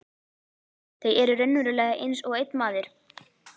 Þau eru raunverulega einsog einn maður.